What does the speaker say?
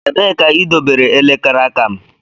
Ebee ka idobere elekere aka m?